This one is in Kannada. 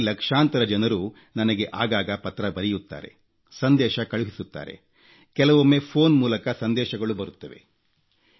ಅದರಲ್ಲಿ ಲಕ್ಷಾಂತರ ಜನರು ನನಗೆ ಆಗಾಗ ಪತ್ರ ಬರೆಯುತ್ತಾರೆ ಸಂದೇಶ ಕಳುಹಿಸುತ್ತಾರೆ ಕೆಲವೊಮ್ಮೆ ಫೋನ್ ಮೂಲಕ ಸಂದೇಶಗಳು ಬರುತ್ತವೆ